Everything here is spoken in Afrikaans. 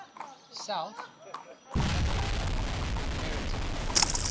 south african maritime